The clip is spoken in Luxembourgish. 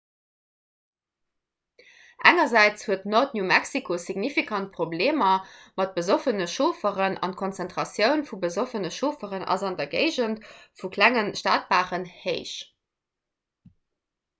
engersäits huet nord-new-mexico signifikant problemer mat besoffene chaufferen an d'konzentratioun vu besoffene chaufferen ass an der géigend vu klenge stadbaren héich